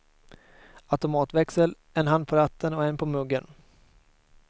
Automatväxel, en hand på ratten och en på muggen.